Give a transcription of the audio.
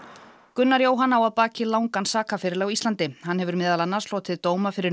Gunnar Jóhann á að baki langan sakaferil á Íslandi hann hefur meðal annars hlotið dóma fyrir